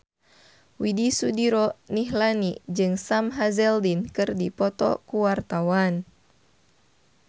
Widy Soediro Nichlany jeung Sam Hazeldine keur dipoto ku wartawan